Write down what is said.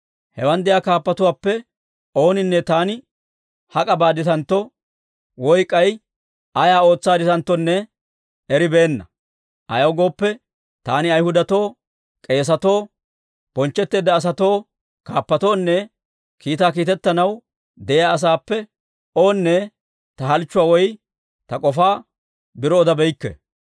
Hewan de'iyaa kaappatuwaappe ooninne taani hak'a baaditantto, woy k'ay ayaa ootsaadditanttonne eribeenna. Ayaw gooppe, taani Ayhudatoo, k'eesatoo, bonchchetteedda asatoo, kaappatoonne kiitaa kiitetanaw de'iyaa asaappe oonne ta k'ofaa biro odabeykke.